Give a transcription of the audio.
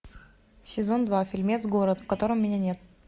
сезон два фильмец город в котором меня нет